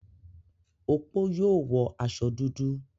Opó yóò wọ aṣọ dúdú?